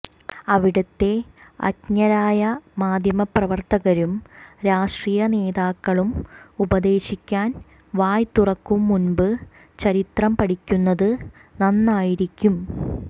അവിടത്തെ അജ്ഞരായ മാധ്യമപ്രവർത്തകരും രാഷ്ട്രീയ നേതാക്കളും ഉപദേശിക്കാൻ വായ് തുറക്കുംമുമ്പ് ചരിത്രം പഠിക്കുന്നത് നന്നായിരിക്കും